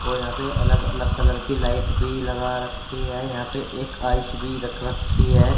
और यहां पे अलग अलग कलर की लाइट भी लगा रखी है यहां पे एक आइस भी रख रखी है।